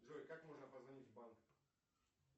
джой как можно позвонить в банк